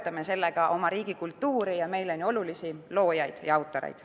Toetame sellega oma riigi kultuuri ja meile nii olulisi loojaid ja autoreid.